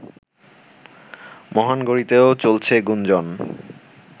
মহানগরীতেও চলছে গুঞ্জন